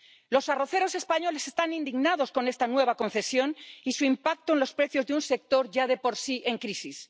Los arroceros españoles están indignados con esta nueva concesión y su impacto en los precios de un sector ya de por sí en crisis.